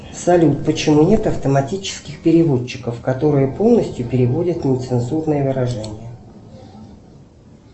салют почему нет автоматических переводчиков которые полностью переводят нецензурные выражения